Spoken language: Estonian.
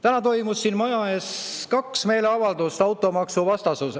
Täna toimus siin maja ees kaks meeleavaldust automaksu vastu.